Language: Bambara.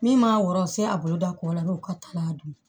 Min ma wɔrɔ u se a bolo da kɔ la n'o ka taa n'a dun